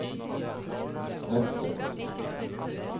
prester